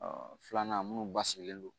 filanan minnu basigilen don